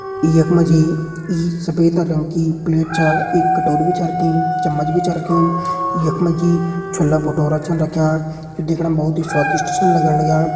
यख मा जी यी सफ़ेद रंग की प्लेट च एक कटोरी भी च रखीं चमच्च भी च रख्युं यख मा जी छोला भटूरा छन रख्यां जो दिखणा मा बहोत स्वादिष्ट छिन लगण लग्यां।